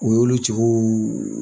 O y' olu cɛ oo.